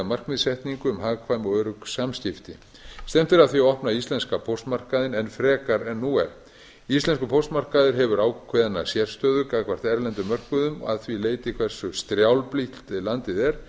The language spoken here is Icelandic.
markmiðssetningu um hagkvæm og örugg samskipti stefnt er að því að opna íslenska póstmarkaðinn enn frekar en nú er íslenskur póstmarkaður hefur ákveðna sérstöðu gagnvart erlendum mörkuðum og að því leyti hversu strjálbýlt landið er